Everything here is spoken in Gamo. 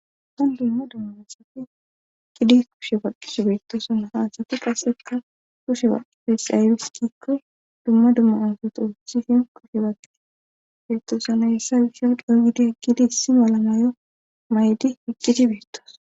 Han dumma dumma asafi gidi kushe faqqishe beettoosana haasati qaseka kushe baqifesaybis gikko dumma dumma asoto husifen kushe bakii beettoosa nayessa wisha di7o gidi agkidi issi mala mayo maydi piqqiti beettoos